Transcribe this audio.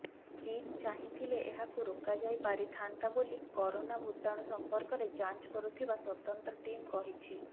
ଚୀନ ଚାହିଁଥିଲେ ଏହାକୁ ରୋକାଯାଇ ପାରିଥାନ୍ତା ବୋଲି କରୋନା ଭୂତାଣୁ ସମ୍ପର୍କରେ ଯାଞ୍ଚ କରୁଥିବା ସ୍ବତନ୍ତ୍ର ଟିମ୍ କହିଛି